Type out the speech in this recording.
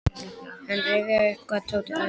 Hann rifjaði upp hvað Tóti hafði sagt í símann.